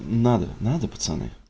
надо надо пацаны